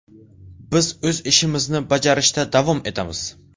Biz o‘z ishimizni bajarishda davom etamiz.